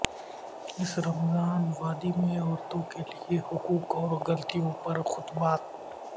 اس رمضان وادی میں عورتوں کے حقوق اور غلطیوں پر خطبات